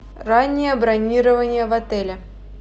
раннее бронирование в отеле